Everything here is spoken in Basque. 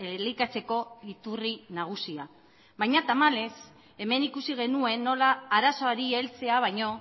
elikatzeko iturri nagusia baina tamalez hemen ikusi genuen nola arazoari heltzea baino